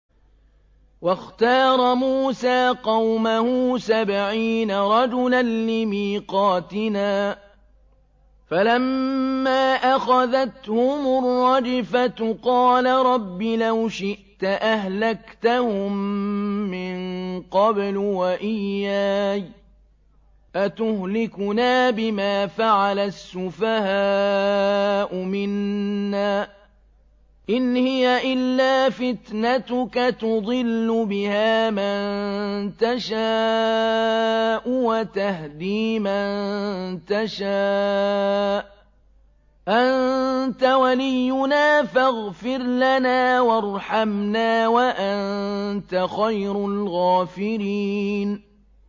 وَاخْتَارَ مُوسَىٰ قَوْمَهُ سَبْعِينَ رَجُلًا لِّمِيقَاتِنَا ۖ فَلَمَّا أَخَذَتْهُمُ الرَّجْفَةُ قَالَ رَبِّ لَوْ شِئْتَ أَهْلَكْتَهُم مِّن قَبْلُ وَإِيَّايَ ۖ أَتُهْلِكُنَا بِمَا فَعَلَ السُّفَهَاءُ مِنَّا ۖ إِنْ هِيَ إِلَّا فِتْنَتُكَ تُضِلُّ بِهَا مَن تَشَاءُ وَتَهْدِي مَن تَشَاءُ ۖ أَنتَ وَلِيُّنَا فَاغْفِرْ لَنَا وَارْحَمْنَا ۖ وَأَنتَ خَيْرُ الْغَافِرِينَ